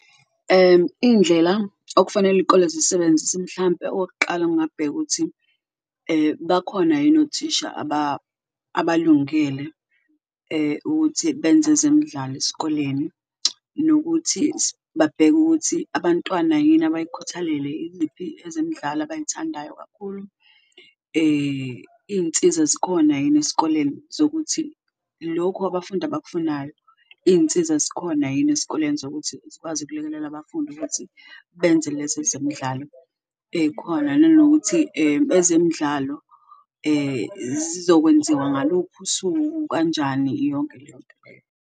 Iy'ndlela okufanele iy'kole zisebenzise mhlampe okokuqala, ngingabheka ukuthi bakhona yini othisha abalingele ukuthi benze ezemidlalo esikoleni, nokuthi babheke ukuthi abantwana yini abayikhuthalele, iliphi ezemidlalo abayithandayo kakhulu. Iy'nsiza zikhona yini esikoleni zokuthi lokhu abafundi abakufunayo, iy'nsiza zikhona yini esikoleni zokuthi zikwazi ukulekelela abafundi ukuthi benze lezi ezemidlalo ey'khona. Nanokuthi ezemidlalo zizokwenziwa ngaluphi usuku kanjani yonke leyo nto leyo.